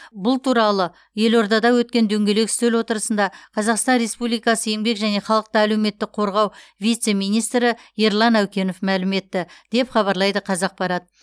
бұл туралы елордада өткен дөңгелек үстел отырысында қазақстан республикасы еңбек және халықты әлеуметтік қорғау вице министрі ерлан әукенов мәлім етті деп хабарлайды қазақпарат